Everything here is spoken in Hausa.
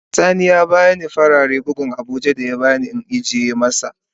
Has sani ya bani farare buhun abuja in ajiye masat.